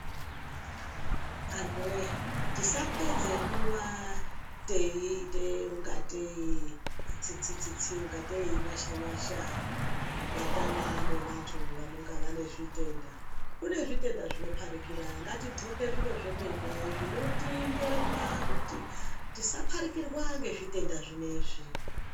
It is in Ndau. Antu voye tisapedze nguva teiita unga tei itsitsi-tsitsi ungatei inyasha-nyasha kubatana nevantu vanenge vane zvitenda. Kune zvitenda zvinoparikira ngatidhloke zviro zvemene zvinotimbonya kuti tisaparikirwa ngezvitenda zvineizvi.